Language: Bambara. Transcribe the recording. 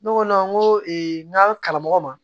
Ne ko ne ko n ka karamɔgɔ ma